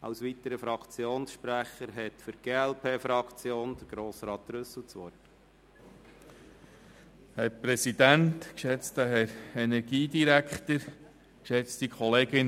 Als weiterer Fraktionssprecher hat Grossrat Trüssel für die glp-Fraktion das Wort.